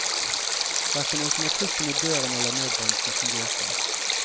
Hverken automatikken i døren eller nødbremsen fungerte.